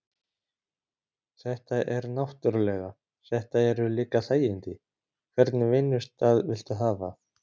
Þetta er náttúrulega. þetta eru líka þægindi, hvernig vinnustað viltu hafa?